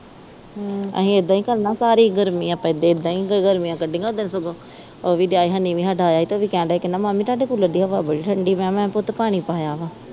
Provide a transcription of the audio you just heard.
ਹੂੰ ਅਸੀਂ ਏਦਾ ਹੀ ਕਰਨਾ ਸਾਰੀ ਗਰਮੀ ਆਪਾਂ ਏਦਾਂ ਈ ਗਰਮੀਆਂ ਕੜੀਆਂ ਓਦਣ ਸਗੋਂ ਉਹ ਵੀ ਦਿਆ ਹਨੀ ਵੀ ਸਾਡਾ ਆਇਆ ਹੀ ਉਹ ਵੀ ਕਹਿਣ ਦਿਆ ਹੀ ਮਾਮੀ ਤੁਹਾਡੇ ਕੂਲਰ ਦੀ ਹਵਾ ਬੜੀ ਠੰਡੀ ਮੈਂ ਕਿਹਾ ਪੁੱਤ ਪਾਣੀ ਪਾਇਆ ਵਾ